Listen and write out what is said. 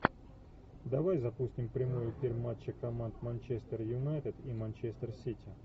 давай запустим прямой эфир матча команд манчестер юнайтед и манчестер сити